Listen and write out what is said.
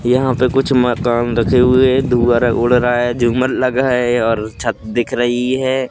यहां पे कुछ मकान रखे हुए है धुअर उड़ रहा है झूमर लगा है और छत दिख रही है।